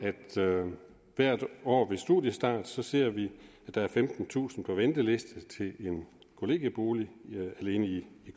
at vi hvert år ved studiestart ser at der er femtentusind på ventelisten til en kollegiebolig alene i